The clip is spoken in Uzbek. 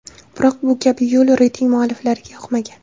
Biroq bu kabi yo‘l reyting mualliflariga yoqmagan.